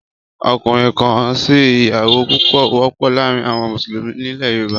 Ọkùnrin-kan-si-ìyàwó púpọ̀ wọ́pọ̀ láàárín àwọn Mùsùlùmí nílẹ̀ Yorùbá